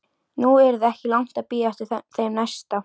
Nú yrði ekki langt að bíða eftir þeim næsta.